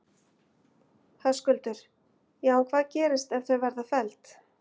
Höskuldur: Já en hvað gerist ef að þau verða felld?